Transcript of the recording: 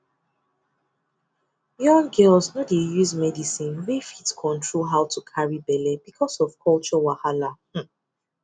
young girls no dey use medicine wey fit control how to carry belle because of culture wahala hmm